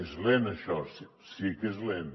és lent això sí que és lent